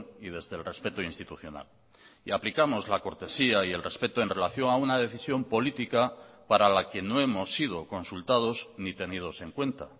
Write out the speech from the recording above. y desde el respeto institucional y aplicamos la cortesía y el respeto en relación a una decisión política para la que no hemos sido consultados ni tenidos en cuenta